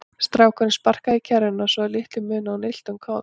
Strákurinn sparkaði í kerruna svo að litlu munaði að hún ylti um koll.